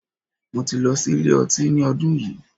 Mo ti lọ sí ilé ọtí ní ọdún yìí.